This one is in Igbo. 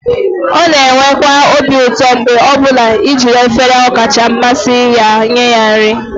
ọ na-enwekwa obi ụtọ mgbe ọ bụla i jiri efere ọkacha mmasị ya nye ya nri